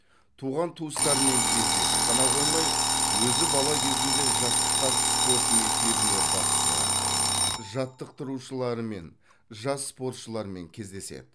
туған туыстарымен кездесіп қана қоймай өзі бала кезінде жаттыққан спорт мектебіне бас сұғады жаттықтырушылармен жас спортшылармен кездеседі